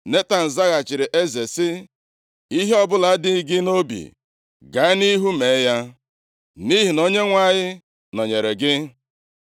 Netan zaghachiri eze sị, “Ihe ọbụla dị gị nʼobi gaa nʼihu mee ya, nʼihi na Onyenwe anyị nọnyeere gị.”